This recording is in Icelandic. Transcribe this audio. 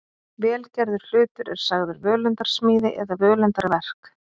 vel gerður hlutur er sagður völundarsmíði eða völundarverk